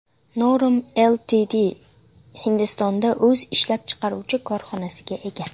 Norm Ltd Hindistonda o‘z ishlab chiqaruvchi korxonasiga ega.